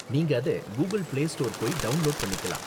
நீங்க அத Google play store போய் டவுண்லோடு பண்ணிக்கலாம்.